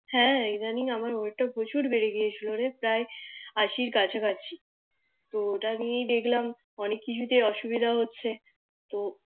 হ্যাঁ ইদানিং আমার ওয়েট টা প্রচুর বেড়ে গিয়েছিলো রে প্রায় আশির কাছা কাছি তো ওটা নিয়ে দেখলাম অনেক কিছুতে অসুবিধা হচ্ছে তো